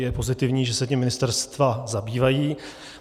Je pozitivní, že se tím ministerstva zabývají.